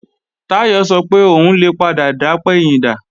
Táyọ̀ sọ pé òun lè padà dapẹ̀yìndà